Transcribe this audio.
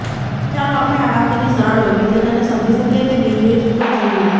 ચાલો આપણે આ વાક્યની સરળ વૈવિધ્યતાને સમજી શકીએ તે બે રીતો જોઈએ